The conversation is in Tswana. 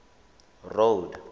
road